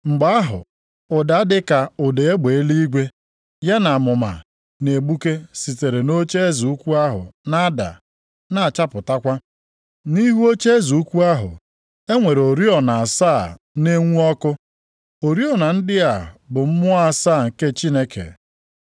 Mgbe ahụ, ụda dịka ụda egbe eluigwe, ya na amụma na-egbuke sitere nʼocheeze ukwu ahụ na-ada na-achapụtakwa. Nʼihu ocheeze ukwu ahụ, e nwere oriọna asaa na-enwu ọkụ. Oriọna ndị a bụ mmụọ asaa nke Chineke.